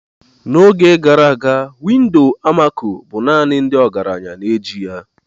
N'oge gara aga windo almaco bụ naanị ndị ọgaranya na-eji ya.